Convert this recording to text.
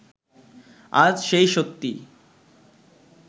আজ সে সত্যিই